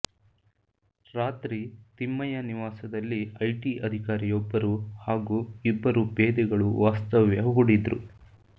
ರಾತ್ರಿ ತಿಮ್ಮಯ್ಯ ನಿವಾಸದಲ್ಲಿ ಐಟಿ ಅಧಿಕಾರಿಯೊಬ್ಬರು ಹಾಗೂ ಇಬ್ಬರು ಪೇದೆಗಳು ವಾಸ್ತವ್ಯ ಹೂಡಿದ್ರು